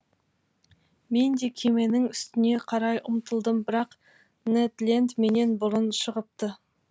мен де кеменің үстіне қарай ұмтылдым бірақ нед ленд менен бұрын шығыпты